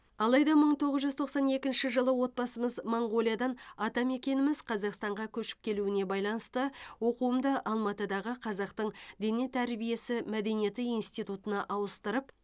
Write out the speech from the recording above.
алайда мың тоғыз жүз тоқсан екінші жылы отбасымыз моңғолиядан атамекеніміз қазақстанға көшіп келуіне байланысты оқуымды алматыдағы қазақтың дене тәрбиесі мәдениеті институына ауыстырып